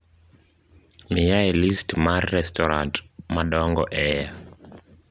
Miyae list mar restorat madongo e a